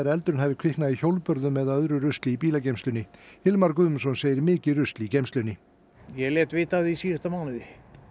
eldurinn hafi kviknað í hjólbörðum eða öðru rusli í bílageymslunni Hilmar Guðmundsson segir mikið rusl í geymslunni ég lét vita af því í síðasta mánuði